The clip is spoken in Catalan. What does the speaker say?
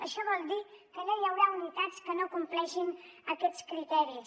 això vol dir que no hi haurà unitats que no compleixin aquests criteris